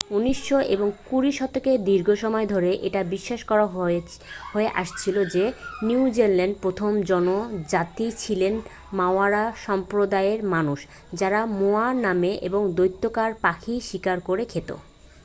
উনিশ এবং কুড়ি শতকের দীর্ঘ সময় ধরে এটা বিশ্বাস করা হয়ে আসছিল যে নিউজিল্যান্ডের প্রথম জনজাতি ছিল মাওরা সম্প্রদায়ের মানুষ যাঁরা মোয়া নামে এক দৈত্যাকার পাখি শিকার করে খেত